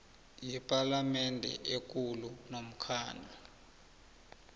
yepalamende ekulu nomkhandlu